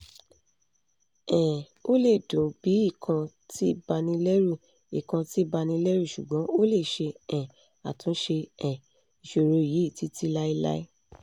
um o le dun bi ikan ti banileru ikan ti banileru sugbon o le se um atunse um isoro yi titilailai